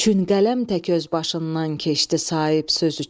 Çün qələm tək öz başından keçdi Sahib söz üçün.